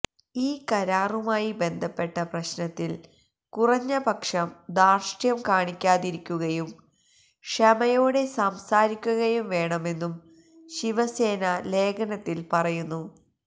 ഈ കരാറുമായി ബന്ധപ്പെട്ട പ്രശ്നത്തില് കുറഞ്ഞ പക്ഷം ധാര്ഷ്ഠ്യം കാണിക്കാതിരിക്കുകയും ക്ഷമയോടെ സംസാരിക്കുകയും വേണമെന്നും ശിവസേന ലേഖനത്തില് പറയുന്നു